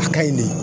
A ka ɲi de